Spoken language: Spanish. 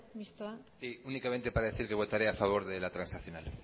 sí únicamente para decir que votaré a favor de la transaccional